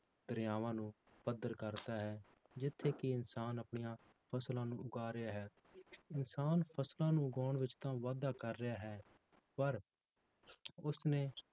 ਦਰਿਆਵਾਂ ਨੂੰ ਪੱਧਰ ਕਰ ਤਾ ਹੈ ਜਿੱਥੇ ਕਿ ਇਨਸਨ ਆਪਣੀਆਂ ਫਸਲਾਂ ਨੂੰ ਉਗਾ ਰਿਹਾ ਹੈ ਇਨਸਾਨ ਫਸਲਾਂ ਨੂੰ ਉਗਾਉਣ ਵਿੱਚ ਤਾਂ ਵਾਧਾ ਕਰ ਰਿਹਾ ਹੈ ਪਰ ਉਸਨੇ